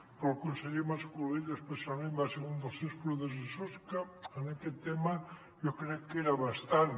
però el conseller mas colell especialment va ser un dels seus predecessors que en aquest tema jo crec que era bastant